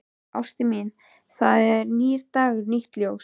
Ástin mín, það er nýr dagur, nýtt ljós.